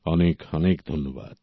অনেক অনেক ধন্যবাদ